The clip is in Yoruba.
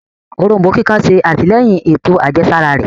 Òrombó kíkan ṣe atilẹyin ètò àjẹsára rẹ